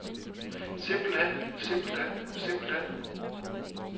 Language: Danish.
simpelthen simpelthen simpelthen